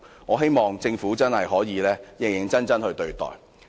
我希望政府真的可以認真對待。